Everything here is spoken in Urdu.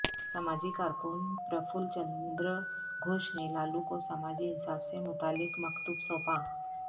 سماجی کارکن پرفل چند ر گھوش نے لالو کو سماجی انصاف سے متعلق مکتوب سونپا